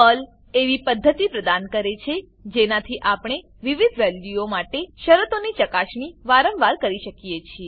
Perl એવી પદ્ધતિ પ્રદાન કરે છે જેનાથી આપણે વિવિધ વેલ્યુઓ માટે શરતોની ચકાસણી વારંવાર કરી શકીએ છીએ